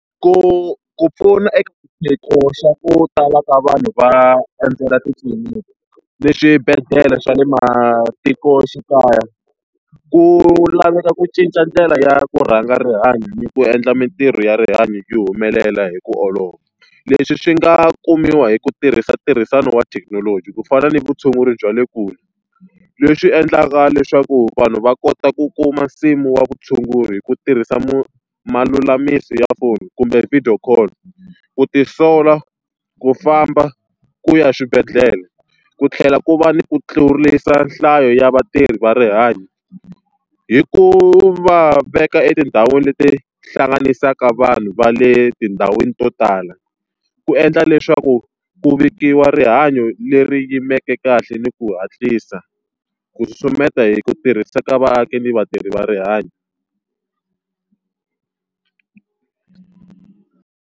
Ku ku pfuna eka xiphiqo xa ku tala ka vanhu va endzela titliliniki na swibedhlele swa le matikoxikaya, ku laveka ku cinca ndlela ya ku rhanga rihanyo ku endla mintirho ya rihanyo yi humelela hi ku olova. Leswi swi nga kumiwa hi ku tirhisa ntirhisano wa thekinoloji ku fana ni vutshunguri bya le kule, leswi endlaka leswaku vanhu va kota ku kuma nsimu wa vutshunguri hi ku tirhisa malulamisi ya phone kumbe video call. Ku tisola, ku famba, ku ya swibedhlele ku tlhela ku va ni ku tlurisa nhlayo ya vatirhi va rihanyo hi ku va veka etindhawini leti hlanganisaka vanhu va le tindhawini to tala. Ku endla leswaku ku vikiwa rihanyo leri yimeke kahle ni ku hatlisa, ku susumeta hi ku tirhisa ka vaaki ni vatirhi va rihanyo.